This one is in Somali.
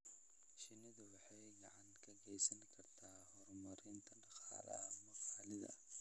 Shinnidu waxay gacan ka geysan kartaa horumarinta dhaqaalaha maxalliga ah.